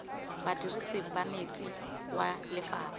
badirisi ba metsi wa lephata